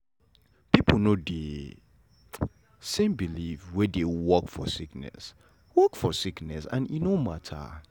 pipo no get de same belief wey dey work for sickness work for sickness and e no mata.